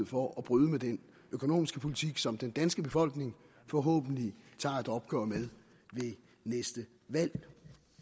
for at bryde med den økonomiske politik som den danske befolkning forhåbentlig tager et opgør med ved næste valg